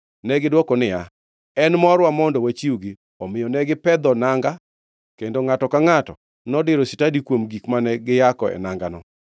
Negidwoko niya, “En morwa mondo wachiwgi.” Omiyo ne gipedho nanga, kendo ngʼato ka ngʼato nodiro stadi koa kuom gik mane giyako e nangano.